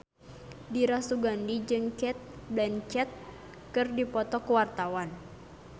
Dira Sugandi jeung Cate Blanchett keur dipoto ku wartawan